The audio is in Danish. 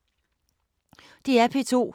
DR P2